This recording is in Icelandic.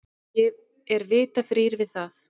Ég er vita frír við það.